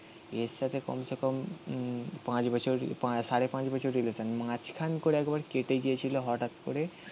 এর সাথে কমসেকম উম পাঁচ বছর সাড়ে পাঁচ বছর রিলেশান. মাঝখান করে একবার কেটে গিয়েছিল হঠাৎ. করে.